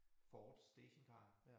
Ford stationcar